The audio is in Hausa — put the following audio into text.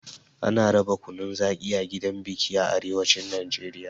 Ana raba kunun zaƙi a gidan biki a arewacin Najeriya.